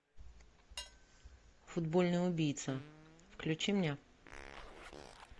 футбольный убийца включи мне